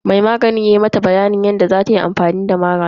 Mai maganin yana mata bayanin yadda zatayi amfani da maganin.